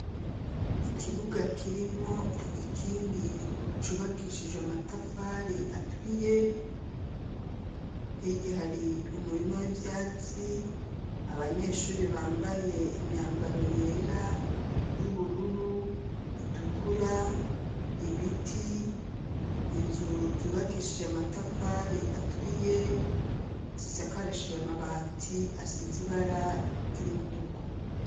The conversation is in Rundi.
Ikibuga kirimo igikingi cubakishije matafari aturiye hirya hari umurimo w'ivyatsi abanyeshuri bambaye imyambaro yera y'ubururu itukura ibiti inzu zubakishije amatafari aturiye zisakaresheje amabati asize ibara ry'umutuku.